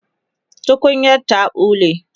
tukunyar ta ɓule